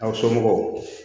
Aw somɔgɔw